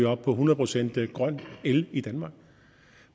op på hundrede procent grøn el i danmark